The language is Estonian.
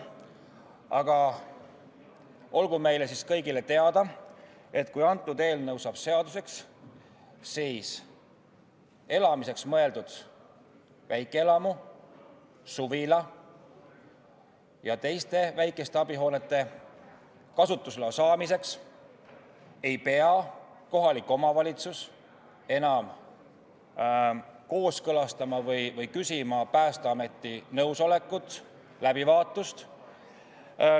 Aga olgu meile kõigile teada, et kui antud eelnõu saab seaduseks, siis elamiseks mõeldud väikeelamu, suvila ja teiste väikeste abihoonete kasutusloa andmiseks ei pea kohalik omavalitsus enam küsima Päästeameti nõusolekut, läbivaatust.